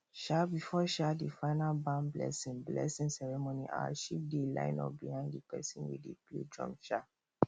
um before um the final barn blessing blessing ceremony our sheep dey line up behind the person wey dey play drum um